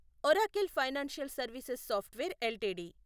Oracle financial services software LTD